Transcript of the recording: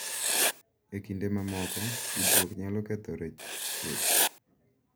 E kinde mamoko, tudruok nyalo kethore chuth .